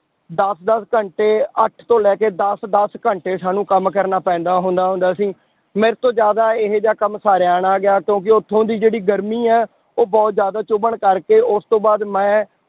ਦਸ ਦਸ ਘੰਟੇ ਅੱਠ ਤੋਂ ਲੈ ਕੇ ਦਸ ਦਸ ਘੰਟੇ ਸਾਨੂੰ ਕੰਮ ਕਰਨਾ ਪੈਂਦਾ ਹੁੰਦਾ ਹੁੰਦਾ ਸੀ, ਮੇਰੇ ਤੋਂ ਜ਼ਿਆਦਾ ਇਹ ਜਿਹਾ ਕੰਮ ਸਾਰਿਆ ਨਾ ਗਿਆ ਕਿਉਂਕਿ ਉੱਥੋਂ ਦੀ ਜਿਹੜੀ ਗਰਮੀ ਹੈ ਉਹ ਬਹੁਤ ਜ਼ਿਆਦਾ ਚੁੱਭਣ ਕਰਕੇ ਉਸ ਤੋਂ ਬਾਅਦ ਮੈਂ